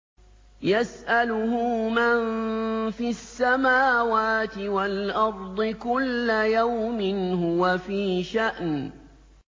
يَسْأَلُهُ مَن فِي السَّمَاوَاتِ وَالْأَرْضِ ۚ كُلَّ يَوْمٍ هُوَ فِي شَأْنٍ